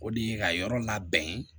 O de ye ka yɔrɔ labɛn ye